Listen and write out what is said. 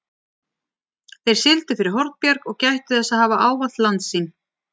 Þeir sigldu fyrir Hornbjarg og gættu þess að hafa ávallt landsýn.